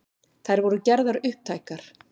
Þær voru gerðar upptækar